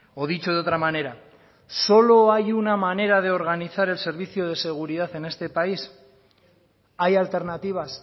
o dicho de otra manera solo hay una manera de organizar el servicio de seguridad en este país hay alternativas